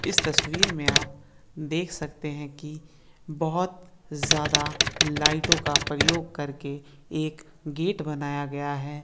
तस्वीर में आप देख सकते हैं की बहोत ज्यादा लाइटों का प्रयोग करके एक गेट बनाया गया है।